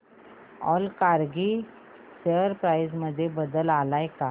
Allcargo share price मध्ये बदल आलाय का